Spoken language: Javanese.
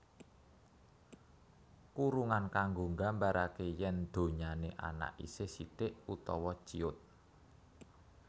Kurungan kanggo nggambaraké yén donyané anak isih sithik utawa ciut